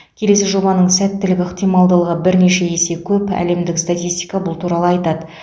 келесі жобаның сәттілік ықтималдығы бірнеше есе көп әлемдік статистика бұл туралы айтады